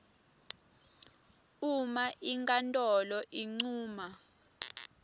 uma inkhantolo incuma